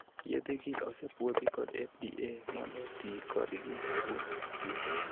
Yedhegi osepuodhi kod 'FDA' mondo tii kodgi kuom jotuo.